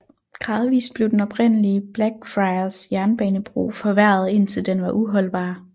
Gradvist blev den oprindelige Blackfriars jernbanebro forværret indtil den var uholdbar